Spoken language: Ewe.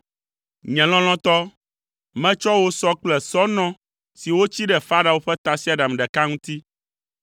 Nye lɔlɔ̃tɔ, metsɔ wò sɔ kple sɔnɔ si wotsi ɖe Farao ƒe tasiaɖam ɖeka ŋuti.